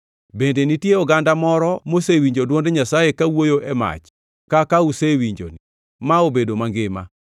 Bende nitie oganda moro mosewinjo dwond Nyasaye kawuoyo e mach kaka usewinjoni ma obedo mangima?